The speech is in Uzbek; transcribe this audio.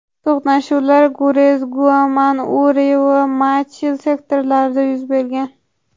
To‘qnashuvlar Gurez, Naugam, Uri va Machil sektorlarida yuz bergan.